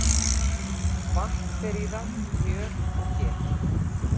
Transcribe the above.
Vatn fer í það, mjöl og ger.